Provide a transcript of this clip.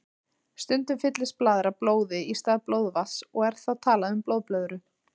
Stundum fyllist blaðra blóði í stað blóðvatns og er þá talað um blóðblöðru.